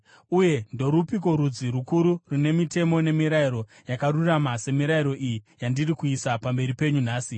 Uye ndorupiko rudzi rukuru rune mitemo nemirayiro yakarurama semirayiro iyi yandiri kuisa pamberi penyu nhasi?